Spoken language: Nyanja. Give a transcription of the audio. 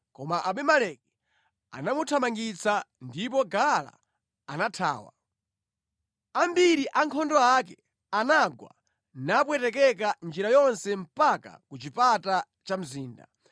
Koma Abimeleki anamuthamangitsa ndipo Gaala anathawa. Ambiri a ankhondo ake anagwa napwetekeka njira yonse mpaka ku chipata cha mzinda.